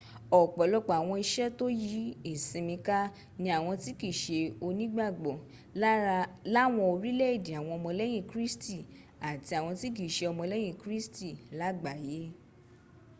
ọ̀pọ̀lọpọ̀ àwọn ìṣe tó yí ìsinmi ká ní àwọn tí kìí ṣe onígbàgbọ́ láwọn orílẹ̀èdè àwọn ọmọlẹ́yìn kristi àti àwọn tí kì í ṣe ọmọlẹ́yìn kristi lágbàáyé